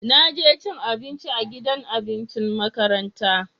Na je cin abinci a gidan abincin makaranta.